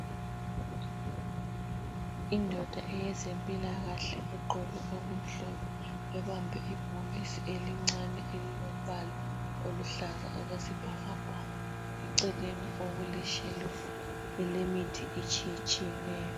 Indoda eyezempilakahle egqoke okumhlophe ebambe ibhokisi elincane elilombala oluhlaza okwesibhakabhaka . Eceleni okuleshelufu elemithi etshiyetshiyeneyo.